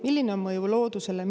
Milline on mõju loodusele?